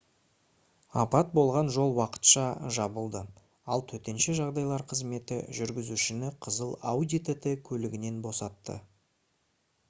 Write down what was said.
апат болған жол уақытша жабылды ал төтенше жағдайлар қызметі жүргізушіні қызыл audi tt көлігінен босатты